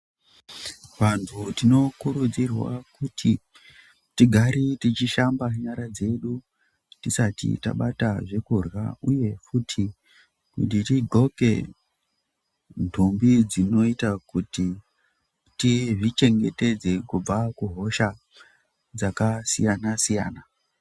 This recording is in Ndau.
Vantu tino kurudzirwa kuti tigare tichi shamba nyara dzedu tisati tabata zvekurya uye futi kuti ti ndxoke ndumbi dzinoita kuti tizvi chengetedze kubva ku hosha dzaka siyana siyana.